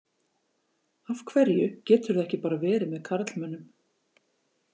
Af hverju geturðu ekki bara verið með karlmönnum?